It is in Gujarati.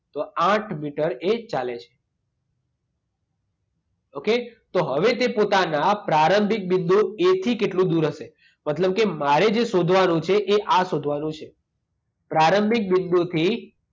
તો આઠ મીટર એ ચાલે છે. ઓકે? તો હવે તે પોતાના પ્રારંભિક બિંદુ એથી કેટલું દૂર હશે? મતલબ કે મારે જે શોધવાનું છે એ આ શોધવાનું છે. પ્રારંભિક બિંદુથી